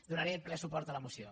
donaré ple suport a la moció